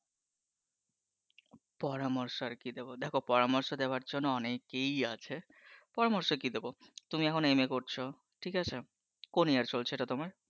পরামর্শ আর কি দেব, দেখো পরামর্শ দেওয়ার জন্য অনেকেই আছে। পরামর্শ কি দেব? তুমি এখন এম. এ করছো, ঠিক আছে কোন ইয়ার চলছে এটা তোমার